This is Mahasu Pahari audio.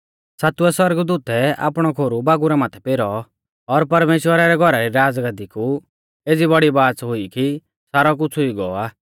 सातवै सौरगदूतै आपणौ खोरु बागुरा माथै पेरौ और परमेश्‍वरा रै घौरा री राज़गाद्दी कु एज़ी बौड़ी बाच़ हुई कि सारौ कुछ़ हुई गौ आ